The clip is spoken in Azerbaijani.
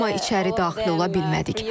Amma içəri daxil ola bilmədik.